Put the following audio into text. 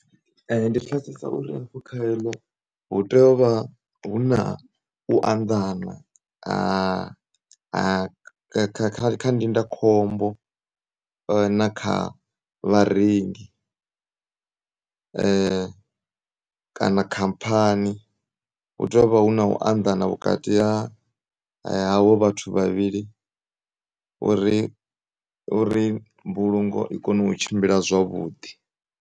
Ndipfesesa uri hafhu kha eḽo huteyovha huna u anḓana kha kha ndindakhombo na kha vharengi kana khamphani hu teyovha huna u anḓana vhukati ha havho vhathu vhavhili uri, uri mbulungo i kone u tshimbila zwavhuḓi.